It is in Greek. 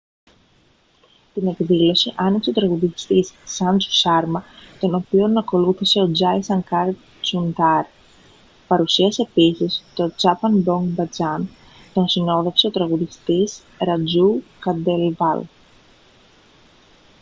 την εκδήλωση άνοιξε ο τραγουδιστής σάντζου σάρμα τον οποίο ακολούθησε ο τζάι σανκάρ τσουντάρι παρουσίασε επίσης το τσάπαν μπογκ μπατζάν τον συνόδευε ο τραγουδιστής ρατζού κάντελβαλ